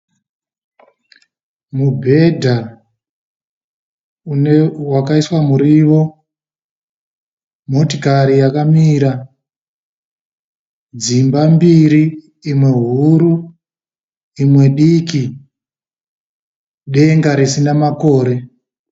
Mubhedha wakaiswa muriwo. Motikari yakamira. Dzimba mbiri imwe huru imwe diki. Denga risina makore.